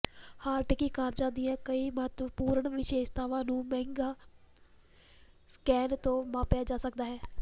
ਹਾਰਟਿਕੀ ਕਾਰਜਾ ਦੀਆਂ ਕਈ ਮਹੱਤਵਪੂਰਣ ਵਿਸ਼ੇਸ਼ਤਾਵਾਂ ਨੂੰ ਮਿਗਾ ਸਕੈਨ ਤੋਂ ਮਾਪਿਆ ਜਾ ਸਕਦਾ ਹੈ